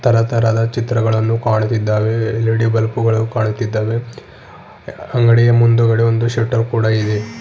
ತರತರಹದ ಚಿತ್ರಗಳನ್ನು ಕಾಣುತ್ತಿದ್ದಾವೆ L E D bulb ಗಳು ಕಾಣುತ್ತಿದ್ದಾವೆ ಅಂಗಡಿಯ ಮುಂದುಗಡೆ ಒಂದು ಶಟರ್ ಕೂಡ ಇದೆ.